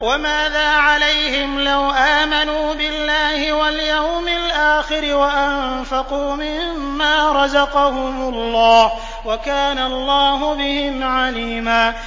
وَمَاذَا عَلَيْهِمْ لَوْ آمَنُوا بِاللَّهِ وَالْيَوْمِ الْآخِرِ وَأَنفَقُوا مِمَّا رَزَقَهُمُ اللَّهُ ۚ وَكَانَ اللَّهُ بِهِمْ عَلِيمًا